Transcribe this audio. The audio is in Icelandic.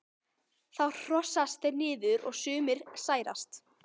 þá horast þeir niður og sumir særast